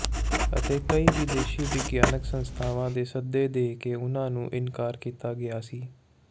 ਅਤੇ ਕਈ ਵਿਦੇਸ਼ੀ ਵਿਗਿਆਨਕ ਸੰਸਥਾਵਾਂ ਦੇ ਸੱਦੇ ਦੇ ਕੇ ਉਨ੍ਹਾਂ ਨੂੰ ਇਨਕਾਰ ਕੀਤਾ ਗਿਆ ਸੀ